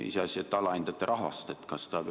Iseasi, et te alahindate rahvast.